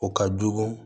O ka jugu